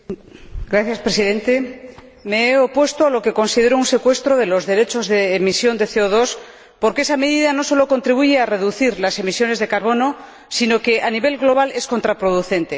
Señor Presidente, me he opuesto a lo que considero un secuestro de los derechos de emisión de CO porque esa medida no solo contribuye a reducir las emisiones de carbono sino que, a nivel global, es contraproducente.